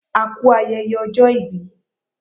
O kú ayẹyẹ ọjọ́ ìbí